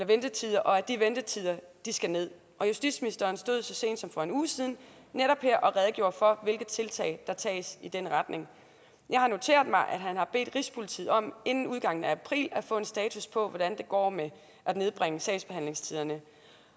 ventetider og at de ventetider skal ned og justitsministeren stod så sent som for en uge siden her og redegjorde for hvilke tiltag der tages i den retning jeg har noteret mig at han har bedt rigspolitiet om inden udgangen af april at få en status på hvordan det går med at nedbringe sagsbehandlingstiderne